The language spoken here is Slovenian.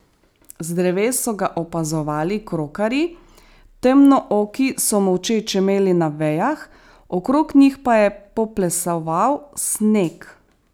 Z dreves so ga opazovali krokarji, temnooki so molče čemeli na vejah, okrog njih pa je poplesoval sneg.